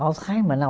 Alzheimer, não